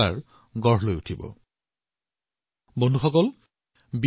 বন্ধুসকল বিহাৰৰ মধুবনীৰ এটা উদাহৰণ দিবলৈ বিচাৰিছো